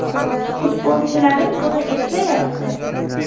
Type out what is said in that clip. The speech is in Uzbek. Futbolchilarim buni eplayapti.